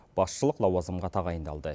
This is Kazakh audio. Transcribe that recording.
басшылық лауазымға тағайындалды